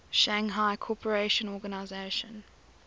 shanghai cooperation organization